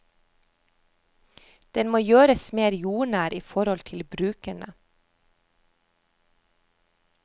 Den må gjøres mer jordnær i forhold til brukerne.